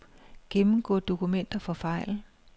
Gennemgå dokumenter for fejl.